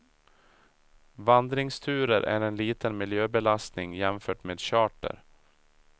Vandringsturer är en liten miljöbelastning jämfört med charter.